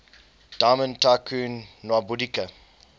diamond tycoon nwabudike